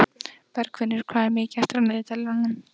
Bergfinnur, hvað er mikið eftir af niðurteljaranum?